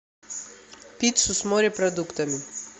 пиццу с морепродуктами